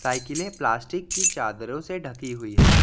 साइकिले प्लास्टिक की चादरों से ढकी हुई है।